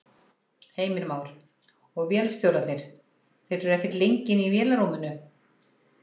Heimir Már: Og vélstjórarnir, þeir eru ekkert lengi inni í vélarrúminu?